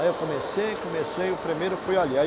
Aí eu comecei, comecei e o primeiro fui ali, aí